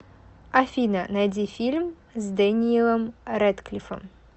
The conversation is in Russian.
афина найди фильм с дэниелом рэдклиффом